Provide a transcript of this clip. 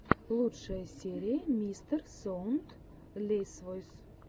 лучшая серия мистерсоундлесвойс